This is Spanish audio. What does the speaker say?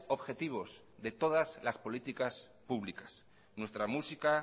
objetivos de todas las políticas públicas nuestra música